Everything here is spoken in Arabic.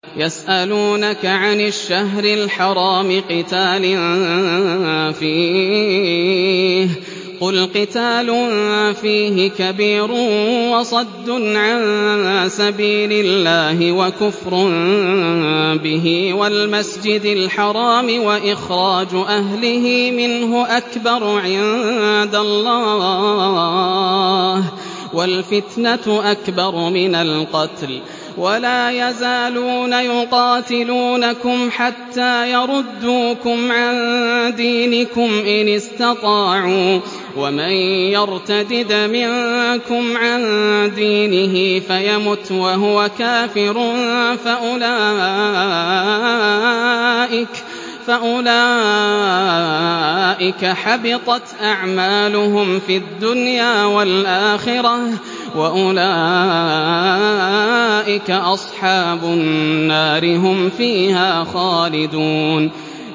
يَسْأَلُونَكَ عَنِ الشَّهْرِ الْحَرَامِ قِتَالٍ فِيهِ ۖ قُلْ قِتَالٌ فِيهِ كَبِيرٌ ۖ وَصَدٌّ عَن سَبِيلِ اللَّهِ وَكُفْرٌ بِهِ وَالْمَسْجِدِ الْحَرَامِ وَإِخْرَاجُ أَهْلِهِ مِنْهُ أَكْبَرُ عِندَ اللَّهِ ۚ وَالْفِتْنَةُ أَكْبَرُ مِنَ الْقَتْلِ ۗ وَلَا يَزَالُونَ يُقَاتِلُونَكُمْ حَتَّىٰ يَرُدُّوكُمْ عَن دِينِكُمْ إِنِ اسْتَطَاعُوا ۚ وَمَن يَرْتَدِدْ مِنكُمْ عَن دِينِهِ فَيَمُتْ وَهُوَ كَافِرٌ فَأُولَٰئِكَ حَبِطَتْ أَعْمَالُهُمْ فِي الدُّنْيَا وَالْآخِرَةِ ۖ وَأُولَٰئِكَ أَصْحَابُ النَّارِ ۖ هُمْ فِيهَا خَالِدُونَ